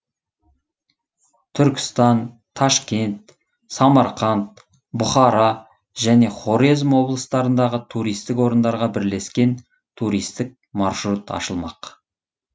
түркістан ташкент самарқанд бұхара және хорезм облыстарындағы туристік орындарға бірлескен туристік маршрут ашылмақ